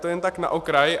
To jen tak na okraj.